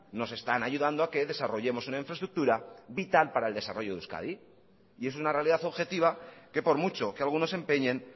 nos están ayudando a que desarrollemos una infraestructura vital para el desarrollo de euskadi y es una realidad objetiva que por mucho que algunos se empeñen